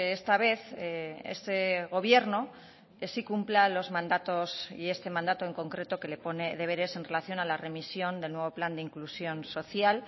esta vez este gobierno sí cumpla los mandatos y este mandato en concreto que le pone deberes en relación a la remisión del nuevo plan de inclusión social